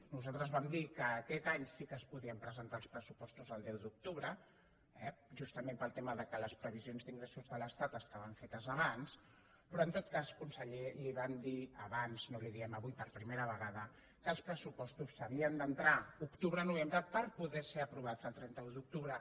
nosaltres vam dir que aquest any sí que es podien presentar els pressupostos el deu d’octubre eh justament pel tema que les previsions d’ingressos de l’estat estaven fetes abans però en tot cas conseller li vam dir abans no li ho diem avui per primera vegada que els pressupostos s’havien d’entrar octubre novembre perquè poguessin ser aprovats el trenta un d’octubre